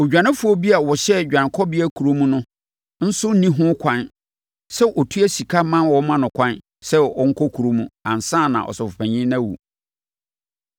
“Odwanefoɔ bi a ɔhyɛ Dwanekɔbea Kuropɔn no mu no nso nni ho ɛkwan sɛ ɔtua sika ma wɔma no ɛkwan kɔ ne kurom ansa na ɔsɔfopanin no awu.